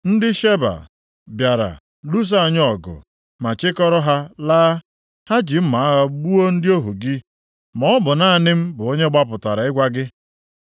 ndị Sheba + 1:15 Ha bụ ndị na-agagharị site nʼotu ebe gaa ebe ọzọ na-azụ ụmụ anụmanụ. Ebe obibi ha bụ na ndịda Arebịa. bịara lụsoo anyị ọgụ ma chịkọrọ ha laa. Ha ji mma agha gbuo ndị ọhụ gị, maọbụ naanị m bụ onye gbapụtara ịgwa gị.”